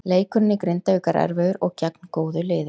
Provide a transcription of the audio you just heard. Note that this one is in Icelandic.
Leikurinn í Grindavík var erfiður og gegn góðu liði.